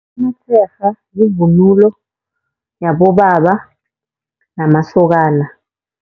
Amatsherha yivunulo yabobaba namasokana.